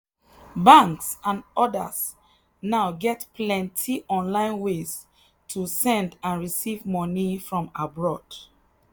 banks and others now get plenty online ways to send and receive money from abroad.